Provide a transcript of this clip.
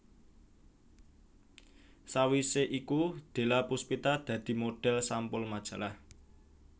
Sawisé iku Della Pustipa dadi modhel sampul majalah